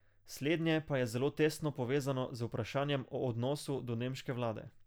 Slednje pa je zelo tesno povezano z vprašanjem o odnosu do nemške vlade.